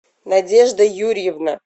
надежда юрьевна